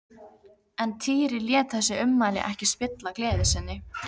En Týri lét þessi ummæli ekki spilla gleði sinni.